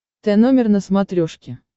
тномер на смотрешке